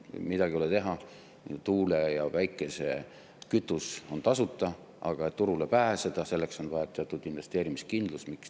Midagi ei ole teha, tuule- ja päikesekütus on tasuta, aga et turule pääseda, selleks on vaja teatud investeerimiskindlust.